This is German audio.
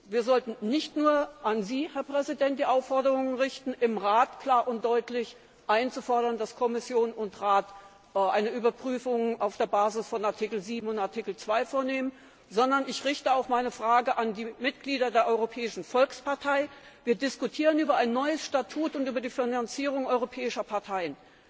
Wir sollten nicht nur an Sie, Herr Präsident, die Aufforderung richten, im Rat klar und deutlich einzufordern, dass Kommission und Rat eine Überprüfung auf der Basis von Artikel 7 und Artikel 2 vornehmen, sondern ich richte auch an die Mitglieder der Europäischen Volkspartei eine Aufforderung. Wir diskutieren über ein neues Statut und über die Finanzierung europäischer Parteien.